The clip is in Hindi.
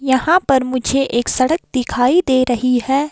यहां पर मुझे एक सड़क दिखाई दे रही है।